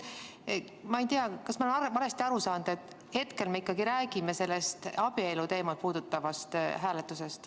Ma ei tea, kas ma olen valesti aru saanud, et hetkel me ikkagi räägime sellest abieluteemat puudutavast hääletusest.